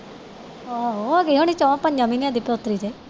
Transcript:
ਆਹੋ ਹੋ ਗਈ ਹੋਣੀ ਚਾਰ ਪੰਜ ਮਹੀਨੇ ਦੀ ਪੋਤਰੀ ਤੇ